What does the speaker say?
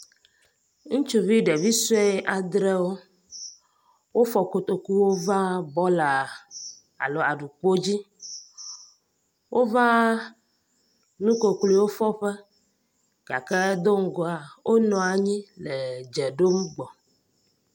Ŋutsuvi ɖevi sue adrewo. Wofɔ kotokuwo va bɔla alo aɖukpodzi. Wova nukukluiwo fɔ ƒe gake do ŋgɔa wonɔ anyi le dze ɖom gbɔ.